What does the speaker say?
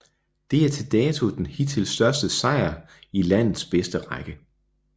Det er til dato den hidtil største sejr i landets bedste række